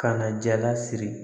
Ka na jala siri